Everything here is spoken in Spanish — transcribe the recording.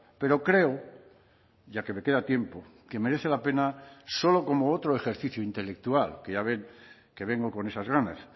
pero creo ya que me queda tiempo que merece la pena solo como otro ejercicio intelectual que ya ven que vengo con esas ganas